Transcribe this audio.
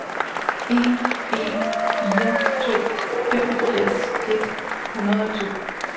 en en fire to femogfirs et hundrede og to